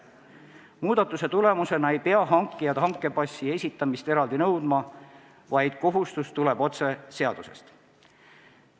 Muudatuse tulemusena ei pea hankijad hankepassi esitamist eraldi nõudma, vaid kohustus tuleneb otse seadusest.